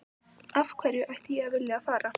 Af hverju ætti ég að vilja að fara?